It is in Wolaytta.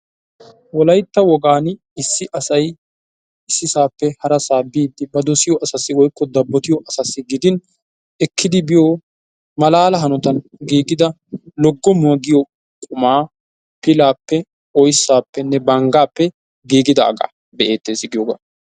Wolaytta wogaani issi asay issisape harasaa biddi ba dosiyo asasi woykko dabbotiyo asasi gidin ekkidi biyo malaala hanottan gigida loggomuwa giyo qumma pilaape, oyssapene banggape gigidaga be'etees giyoga.